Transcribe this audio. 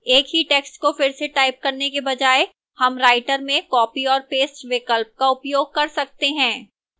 एक ही text को फिर से टाइप करने के बजाय हम writer में copy और paste विकल्प का उपयोग कर सकते हैं